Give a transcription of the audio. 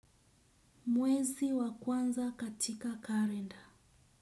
Mwezi wa kwanza katika kalenda.